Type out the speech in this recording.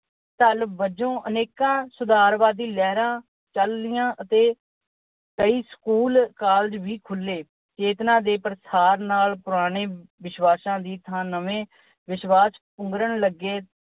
ਵਜੋਂ ਅਨੇਕਾਂ ਸੁਧਾਰਵਾਦੀ ਲਹਿਰਾਂ ਚਲੀਆਂ ਅਤੇ ਕਈ ਸਕੂਲ, ਕਾਲਜ ਵੀ ਖੁੱਲ੍ਹੇ। ਚੇਤਨਾ ਦੇ ਪਾਸਾਰ ਨਾਲ ਪੁਰਾਣੇ ਵਿਸ਼ਵਾਸਾਂ ਦੀ ਥਾਂ ਨਵੇਂ ਵਿਸ਼ਵਾਸ ਪੁੰਗਰਨ ਲੱਗੇ।